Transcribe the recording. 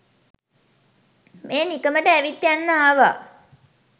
මේ නිකමට ඇවිත් යන්න ආවා.